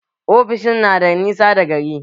Ofishin na da nisa da gari